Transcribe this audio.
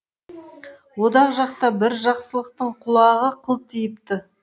одақ жақта бір жақсылықтың құлағы қылтиыпты